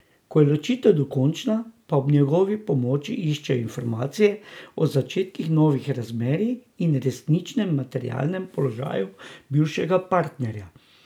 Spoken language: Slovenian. Ko je ločitev dokončna, pa ob njegovi pomoči iščejo informacije o začetkih novih razmerji in resničnem materialnem položaju bivšega partnerja.